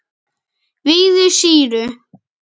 vígðu sýru.